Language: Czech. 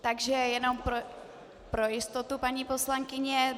Takže jenom pro jistotu, paní poslankyně.